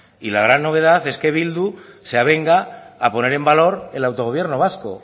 y la gran novedad es que eh bildu se avenga a poner en valor el autogobierno vasco